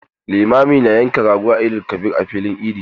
Limami na yankan rago da Eid-el-kabir a masallacin idi.